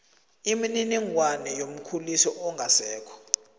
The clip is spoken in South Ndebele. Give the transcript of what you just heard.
imininingwana yomkhulisi ongasekho